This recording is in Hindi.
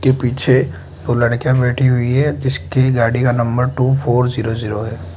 के पीछे दो लड़कियां बैठी हुई है जिसके गाड़ी का number two four zero zero है।